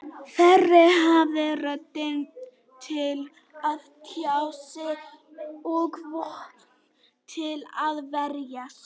Þeir hafa rödd til að tjá sig og vopn til að verjast.